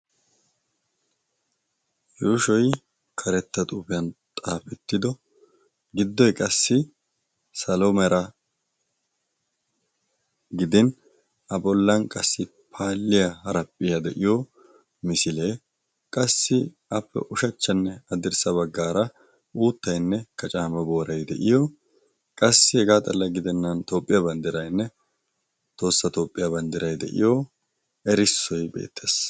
yushoy karetta xuufiyan xaafittido giddoy qassi salo meera gidin a polan qassi paaliyaa araphphiyaa de'iyo misilee qassi appe ushachchanne addirssa baggaara uuttainne kacaama booray de'iyo qassi hegaa xalla gidennan toopphiyaa banddirainne toossa toophphiyaa banddirai de'iyo erissoy beettees.